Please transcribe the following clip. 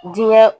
Diinɛ